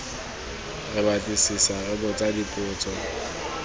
re batlisisa re botsa dipotso